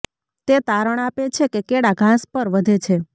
તે તારણ આપે છે કે કેળા ઘાસ પર વધે છે